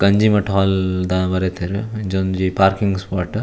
Ganjimutt hall ದ ಬರೆತೆರ್ ಅಂಚ ಒಂಜಿ ಪಾರ್ಕಿಂಗ್ ಸ್ಪೋಟ್ .